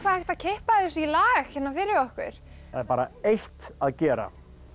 hægt að kippa þessu í lag hérna fyrir okkur það er bara eitt að gera